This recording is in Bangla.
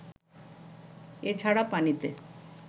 এছাড়া পানিতে